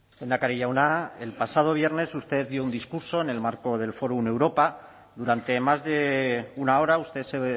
lehendakari jauna el pasado viernes usted dio un discurso en el marco del fórum europa durante más de una hora usted se